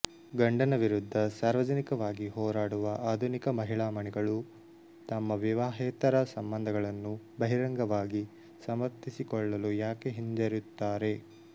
ಗಂಡನ ವಿರುದ್ಧ ಸಾರ್ವಜನಿಕವಾಗಿ ಹೋರಾಡುವ ಆಧುನಿಕ ಮಹಿಳಾ ಮಣಿಗಳು ತಮ್ಮ ವಿವಾಹೇತರ ಸಂಬಂಧಗಳನ್ನು ಬಹಿರಂಗವಾಗಿ ಸಮರ್ಥಿಸಿಕೊಳ್ಳಲು ಯಾಕೆ ಹಿಂಜರಿಯುತ್ತಾರೆ